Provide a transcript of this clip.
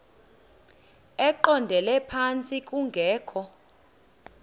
eqondele phantsi kungekho